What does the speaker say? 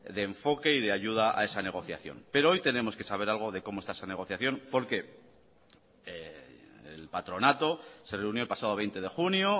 de enfoque y de ayuda a esa negociación pero hoy tenemos que saber algo de cómo está esa negociación porque el patronato se reunió el pasado veinte de junio